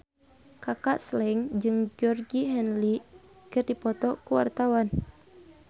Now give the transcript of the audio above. Kaka Slank jeung Georgie Henley keur dipoto ku wartawan